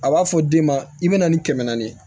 A b'a fɔ den ma i bɛ na ni kɛmɛ naani ye